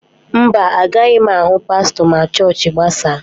Mba, agaghị m ahụ pastọ ma chọọchị gbasaa.